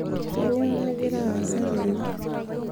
kainyoo nagira aasa tene